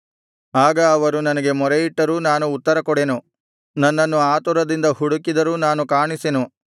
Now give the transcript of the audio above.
ಆಗ ಅವರು ನನಗೆ ಮೊರೆಯಿಟ್ಟರೂ ನಾನು ಉತ್ತರಕೊಡೆನು ನನ್ನನ್ನು ಆತುರದಿಂದ ಹುಡುಕಿದರೂ ನಾನು ಕಾಣಿಸೆನು